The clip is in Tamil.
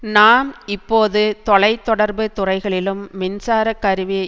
நாம் இப்போது தொலை தொடர்பு துறைகளிலும் மின்சார கருவி